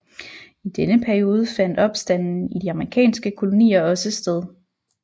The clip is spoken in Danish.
I denne periode fandt opstanden i de amerikanske kolonier også sted